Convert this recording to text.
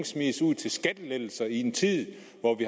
smides ud til skattelettelser i en tid